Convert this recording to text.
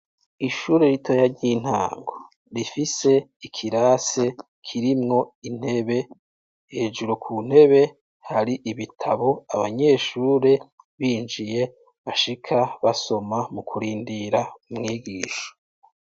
Ishure ritoya ry'intango, rifise ikirasi kirimwo intebe hejuru ku ntebe hari ibitabo abanyeshure binjiye bashika basoma mu kurindira umwigisha.